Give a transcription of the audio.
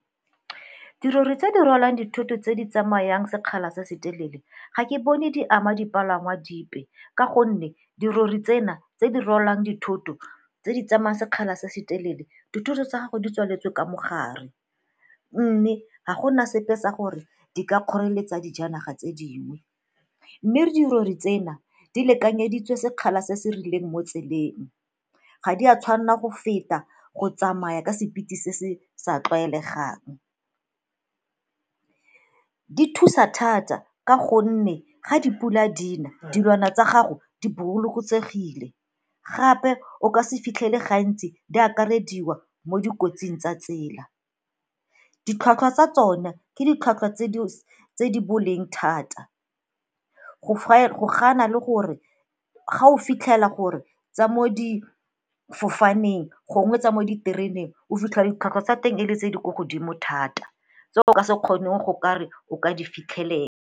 Dirori tse di rwalang dithoto tse di tsamayang sekgala se se telele ga ke bone di ama dipalangwa dipe ka gonne dirori tsena tse di rwalang dithoto, tse di tsamaya sekgala se se telele dithuto tsa gago di tswaletswe ka mo gare. Mme ga gona sepe se gore di ka kgoreletsa dijanaga tse dingwe, mme dirori tsena di lekanyeditswe sekgala se se rileng mo tseleng, ga di a tshwanna go feta go tsamaya ka sephiri se se sa tlwaelegang. Di thusa thata ka gonne ga dipula dina dilwana tsa gago di bolokosegile, gape o ka se fitlhele gantsi di akarediwa mo dikotsing tsa tsela. Ditlhwatlhwa tsa tsona ke ditlhwatlhwa tse di boleng thata go ga na le gore ga o fitlhela gore tsa mo difofaneng gongwe tsa mo ditereneng o fitlhela ditlhwatlhwa tsa teng e le tse di kwa godimo thata tse o ka se kgoneng go kare o ka di fitlhelela.